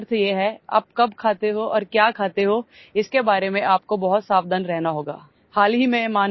इसका अर्थ ये है कि आप कब खाते हो और क्या खाते होइसके बारे में आपको बहुत सावधान रहना होगा